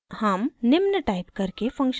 हम निम्न टाइप करके फंक्शन को परिभाषित करते हैं